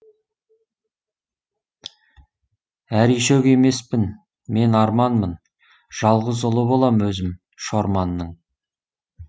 әришөк емеспін мен арманмын жалғыз ұлы болам өзім шорманның